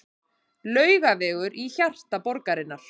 Laugavegur í hjarta borgarinnar.